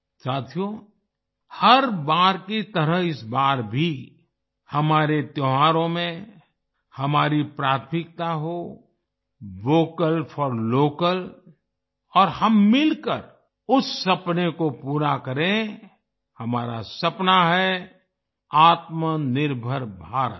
साथियो हर बार की तरह इस बार भी हमारे त्योहारों में हमारी प्राथमिकता हो वोकल फॉर लोकल और हम मिलकर उस सपने को पूरा करें हमारा सपना है आत्मनिर्भर भारत